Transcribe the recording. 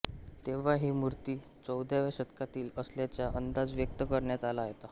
तेव्हा ही मूर्ती चौदाव्या शतकातील असल्याचा अंदाज व्यक्त करण्यात आला होता